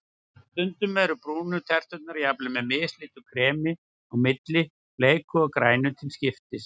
Stundum eru brúnu terturnar jafnvel með mislitu kremi á milli, bleiku og grænu til skiptis.